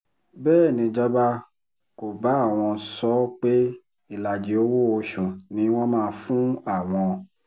bẹ́ẹ̀ nìjọba kò bá àwọn sọ ọ́ pé ìlàjì owó-oṣù ni wọ́n máa fún àwọn